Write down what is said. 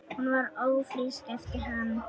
Hún varð ófrísk eftir hann.